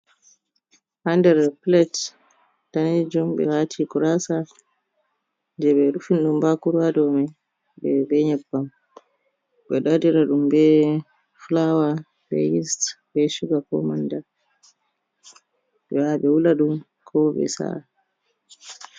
Ha nder plate danejum ɓe wati gurasa, jei be rufini ɗum bakuru ha domai be nyebbam, ɓe ɗo waɗira ɗum be fulawa be yeas be shuga ko manda ɓe yaha ɓe wula ɗum ko ɓe sa’a.